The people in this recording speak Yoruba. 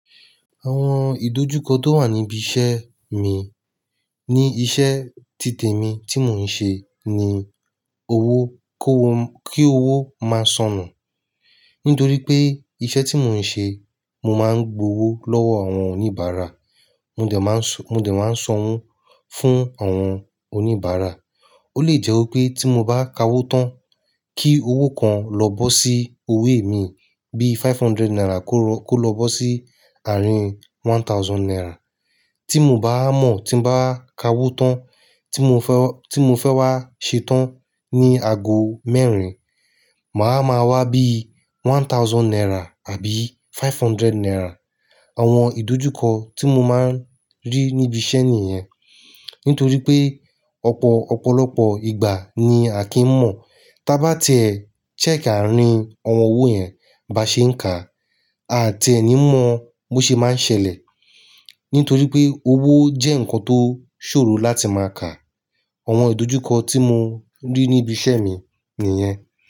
Àwọn ìdojúkọ tó wà níbi iṣẹ́ mi ní iṣẹ́ títè mi tí mò ń ṣe ní owó kó, kí owó máa sonù. Nítorí pé iṣẹ́ tí mò ń ṣe, mo máa ń gbowó lọ́wọ́ àwọn oníbàárà. Mó dẹ̀ máa ń sọ, mó dẹ̀ máa ń sanwó fún àwọn oníbàárà. Ó lè jẹ́ wípé tí mo bá ka owó tán kí owó kan lọ bọ́ sí owó mi bíi five hundred naira kó lọ bọ́ sí àárín one thousand naira. Tí mò bá mọ̀, tí mo bá ka owó tán tí mo fẹ́, tí mo fẹ́ wá ṣe tán ní ago mẹ́rin, màá ma wá bíi one thousand naira àbí five hundred naira. Àwọn ìdojúkọ tí mo máa ń rí níbi iṣẹ́ nìyẹn. Nítorí pé ọ̀pọ̀, ọ̀pọ̀lọpọ̀ ìgbà ni à kí ń mọ̀ tí a bá tiẹ́, check àárín àwọn owó yẹn bá ṣe ń kà. A tiẹ́ ẹ ní mọ bó ṣe máa ń ṣẹlẹ̀. Nítorí pé owó jẹ́ nǹkan tó ṣòro láti máa kà. Àwọn ìdojúkọ tí mo rí níbi iṣẹ́ mi nìyẹn.